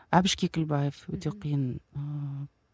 әбіш кекілбаев өте қиын ыыы